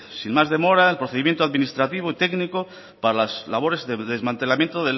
sin más demora el procedimiento administrativo y técnico para las labores de desmantelamiento